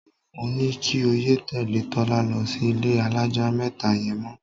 Mo ní kí o yé tè̩lé̩ Tó̩la lo̩ sí ilé alájà mé̩ta ye̩n mo̩.